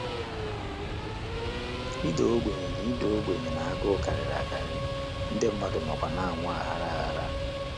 Ịda ogbenye na Ịda ogbenye na agụụ karịrị akarị, ndị mmadụ nọkwa na - anwụ aghara aghara.